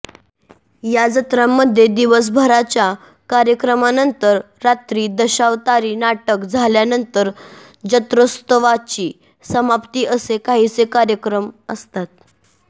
या जत्रांमध्ये दिवसभराच्या कार्यक्रमांनंतर रात्री दशावतारी नाटक झाल्यानंतर जत्रोत्सवाची समाप्ती असे काहीसे कार्यक्रम असतात